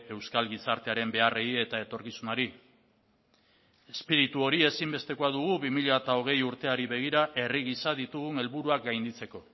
euskal gizartearen beharrei eta etorkizunari espiritu hori ezinbestekoa dugu bi mila hogei urteari begira herri gisa ditugun helburuak gainditzeko